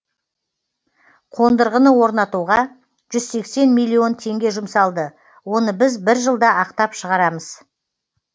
қондырғыны орнатуға жүз сексен миллион теңге жұмсалды оны біз бір жылда ақтап шығарамыз